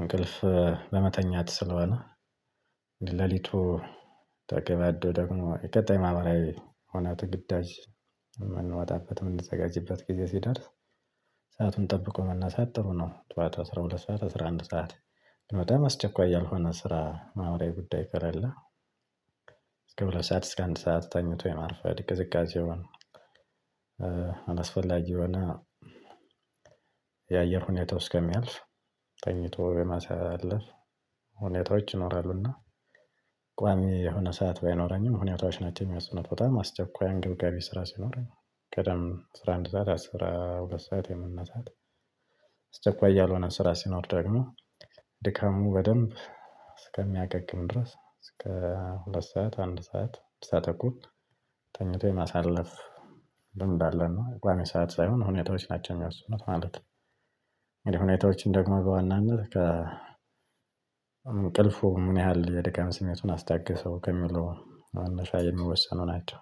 እንቅልፍ ለመተኛት ስለሆነ። ሌሊቱ ተገባዶ ደግሞ የቀጣይ ማህበራዊ ሁነት ግዳጅ የምንወጣበት የምንዘጋጅበት ጊዜ ሲደርስ። ሰአቱን ጠብቆ መነሳት ጥሩ ነው። ጠዋት አስራ ሁለት ሰዓት አስራ አንድ ሰዓት በጣም አስቸኳይ ያልሆነ ስራ ማህበራዊ ጉዳይ ከሌለ። እስከ ሁለት ሰዓት እስከ አንድ ሰዓት ተኝቶ የማርፈድ ቅዝቃዜውን። የሆነ የአየር ሁኔታው እስከሚያልፍ ተኝቶ የማሳለፍ ሁኔታዎች ይኖራሉና። ቋሚ የሆነ ሰዓት ባይኖረኝም ሁኔታዎች ናቸው የሚወስኑት በጣም አስቸኳይ አንገብጋቢ ስራ ሲኖረኝ ቀደም አስራ አንድ ሰዓት አስራ ሁለት ሰዓት የመነሳት። አስቸኳይ ያልሆነ ስራ ሲኖር ደግሞ። ድካሙ በደንብ እስከሚያገግም ድረስ እስከ ሁለት ሰዓት አንድ ሰዓት እስከ ተኩል ተኝቶ የማሳለፍ ልምድ አለን። ቋሚ ሰዓት ሳይሆን ሁኔታዎች ናቸው የሚወስኑት ማለት ነው። ሁኔታዎችን ደግሞ በዋናነት ከ እንቅልፉ ምን ያህል የድካም ስሜቱን አስታገሰው ከሚለው መነሻ የሚወሰኑ ናቸው።